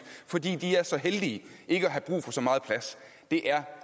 fordi de er så heldige ikke at have brug for så meget plads det er